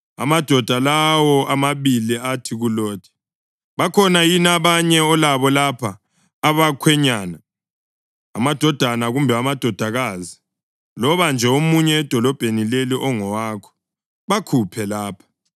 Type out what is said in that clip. Amadoda lawo amabili athi kuLothi, “Bakhona yini abanye olabo lapha abakhwenyana, amadodana kumbe amadodakazi, loba nje omunye edolobheni leli ongowakho? Bakhuphe lapha,